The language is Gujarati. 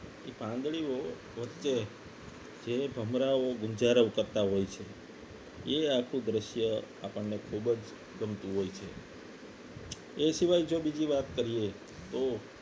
એ પાંદડીઓ વચ્ચે જે ભમરાઓ ગુંજરાઓ કરતા હોય છે એ આખું દ્રશ્ય આપણને ખૂબ જ ગમતું હોય છે એ સિવાય જો બીજી વાત કરીએ તો